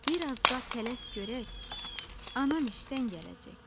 Birazca tələs görək, anam işdən gələcək.